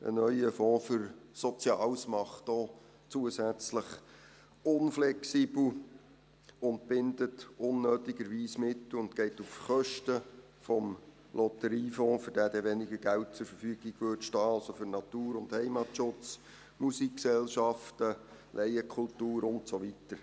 Ein neuer Fonds für Soziales macht auch zusätzlich unflexibel, bindet unnötigerweise Mittel und geht auf Kosten des Lotteriefonds, für den dann weniger Geld zur Verfügung stünden, also für Natur und Heimatschutz, Musikgesellschaften, Laienkultur und so weiter.